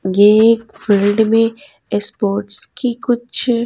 यह एक फील्ड में स्पोर्ट्स की कुछ।